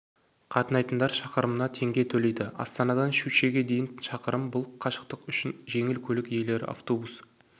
қатынайтындар шақырымына теңге төлейді астанадан щучьеге дейін шақырым бұл қашықтық үшін жеңіл көлік иелері автобус